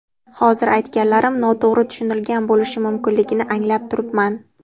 Hozir aytganlarim noto‘g‘ri tushunilgan bo‘lishi mumkinligini anglab turibman.